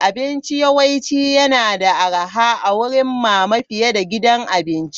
Abinci yawanci yana da arha a wurin mama fiye da gidan abinci.